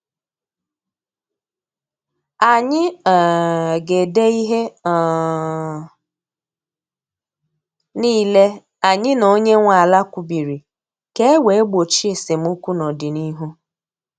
Anyị um ga ede ihe um niile anyị na onye nwe ala kwubiri ka e wee gbochie esemokwu n' ọdịnihu